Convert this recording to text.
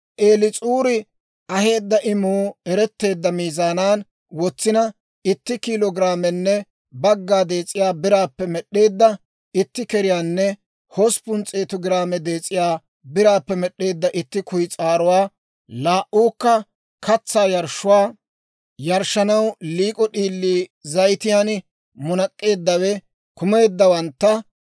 Eliis'uuri aheedda imuu eretteedda miizaanan wotsina, itti kiilo giraamenne bagga dees'iyaa biraappe med'd'eedda itti keriyaanne hosppun s'eetu giraame dees'iyaa biraappe med'd'eedda itti kuyis'aaruwaa, laa"uukka katsaa yarshshuwaa yarshshanaw liik'o d'iilii zayitiyaan munak'k'eeddawe kumeeddawantta;